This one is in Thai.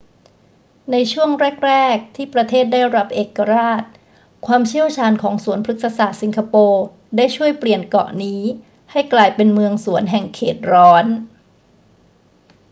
ในช่วงแรก ๆ ที่ประเทศได้รับเอกราช ความเชี่ยวชาญของสวนพฤกษศาสตร์สิงคโปร์ได้ช่วยเปลี่ยนเกาะนี้ให้กลายเป็นเมืองสวนแห่งเขตร้อน